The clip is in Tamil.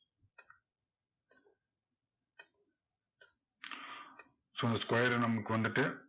so இந்த square உ நமக்கு வந்துட்டு